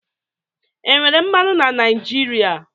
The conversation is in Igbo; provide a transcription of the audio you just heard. Enwere mmanụ na Naijiria?